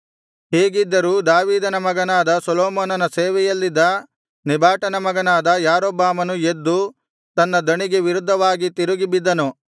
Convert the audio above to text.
ಹೀಗಿದ್ದರೂ ದಾವೀದನ ಮಗನಾದ ಸೊಲೊಮೋನನ ಸೇವೆಯಲ್ಲಿದ್ದ ನೆಬಾಟನ ಮಗನಾದ ಯಾರೊಬ್ಬಾಮನು ಎದ್ದು ತನ್ನ ದಣಿಗೆ ವಿರುದ್ಧವಾಗಿ ತಿರುಗಿ ಬಿದ್ದನು